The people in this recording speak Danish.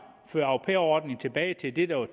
føre au pair ordningen tilbage til det der var